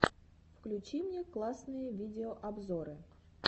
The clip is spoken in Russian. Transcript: включи мне классные видеообзоры